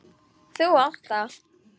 Þú átt það!